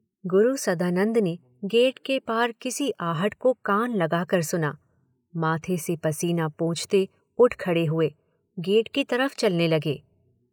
गुरु सदानंद ने गेट के पार किसी आहट को कान लगाकर सुना, माथे से पसीना पोंछते उठ खड़े हुए, गेट की तरफ़ चलने लगे।